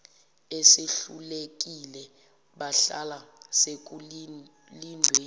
esehlulekile bahlala sekulindwe